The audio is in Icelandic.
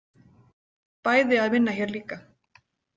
Bæði að vinna hér líka.